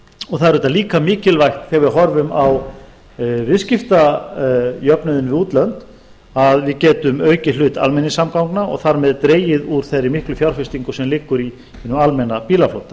og það er auðvitað líka mikilvægt þegar við horfum á viðskiptajöfnuðinn við útlönd að við getum aukið hlut almenningssamgangna og þar með dregið úr þeirri miklu fjárfestingu sem liggur í hinum almenna bílaflota